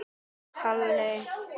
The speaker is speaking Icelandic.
Þú réttir úr þér.